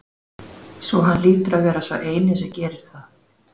Svo hann hlýtur að vera sá eini sem gerir það?